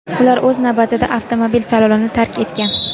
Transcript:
Ular o‘z vaqtida avtomobil salonini tark etgan.